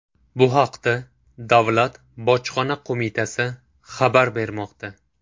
Bu haqda Davlat Bojxona qo‘mitasi xabar bermoqda .